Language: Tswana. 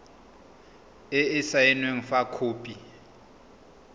e e saenweng fa khopi